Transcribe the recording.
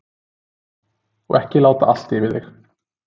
Og ekki láta allt yfir þig.